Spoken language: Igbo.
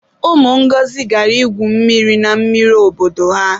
Ụmụ Ngọzi gara ígwù mmiri na mmiri obodo ha.